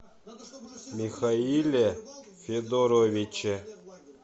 михаиле федоровиче